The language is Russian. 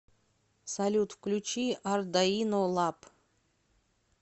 салют включи ардаино лаб